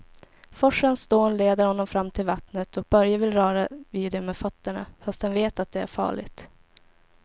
Forsens dån leder honom fram till vattnet och Börje vill röra vid det med fötterna, fast han vet att det är farligt.